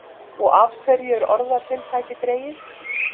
Og af hverju er orðatiltækið dregið?